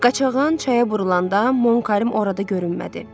Qaçağan çaya vurulanda Monkəym orada görünmədi.